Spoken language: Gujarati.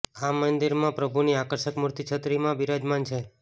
આ મંદિર મા પ્રભુ ની આકર્ષક મૂર્તિ છત્રી મા બિરાજમાન છે